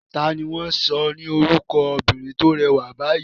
Ta ni wọ́n sọ ni orúkọ obìnrin tó rẹwà báyìí?